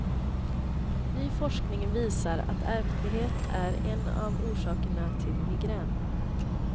Ny forskning visar att ärftlighet är en av orsakerna till migrän.